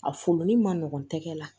A folo ni ma nɔgɔn tɛgɛ la